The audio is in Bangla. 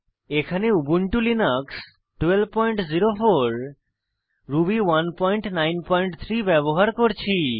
এখানে উবুন্টু লিনাক্স সংস্করণ 1204 রুবি 193 ব্যবহার করছি